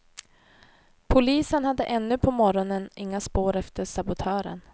Polisen hade ännu på morgonen inga spår efter sabotören.